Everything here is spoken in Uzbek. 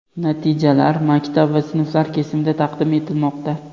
Natijalar maktab va sinflar kesimida taqdim etilmoqda.